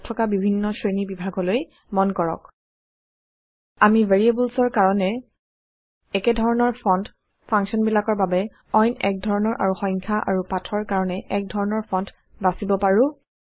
ইয়াত থকা বিভিন্ন শ্ৰেণী বিভাগলৈ মন কৰক আমি ভেৰিয়েবলছৰ কাৰণে একধৰণৰ ফন্ট ফাংকশ্যনবিলাকৰ বাবে অইন এক ধৰণৰ আৰু সংখ্যা আৰু পাঠৰ কাৰণে এক ধৰণৰ ফন্ট বাচিব পাৰো